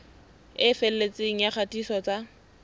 e felletseng ya kgatiso tsa